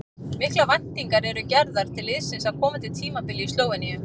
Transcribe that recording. Miklar væntingar eru gerðar til liðsins á komandi tímabili í Slóveníu.